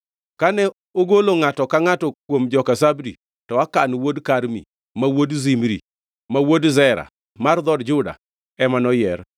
Kane ogolo ngʼato ka ngʼato kuom joka Zabdi, to Akan wuod Karmi, ma wuod Zimri, ma wuod Zera mar dhood Juda ema noyier.